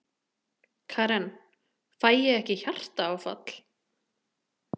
Karen: Fæ ég ekki hjartaáfall?